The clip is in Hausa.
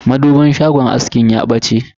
madubin shagon askin ya fashe.